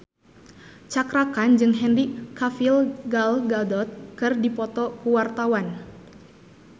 Cakra Khan jeung Henry Cavill Gal Gadot keur dipoto ku wartawan